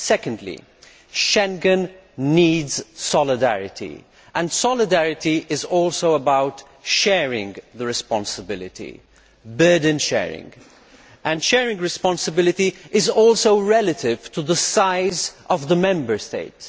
Secondly, Schengen needs solidarity and solidarity is also about sharing the responsibility burden sharing and sharing responsibility is also relative to the size of the Member State.